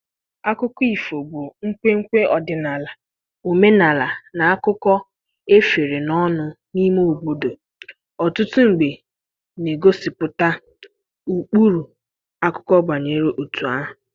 Akụkọ ifo bu Nkwenkwe ọdịnala Omenala na akụkọ Efere n'ọnụ N'ime obodo Ọtụtụ mgbe na-egosipụta ụkpụrụ Akụkọ banyere otu ahụ